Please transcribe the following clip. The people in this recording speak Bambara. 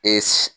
Ee